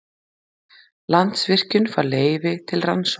Landsvirkjun fær leyfi til rannsókna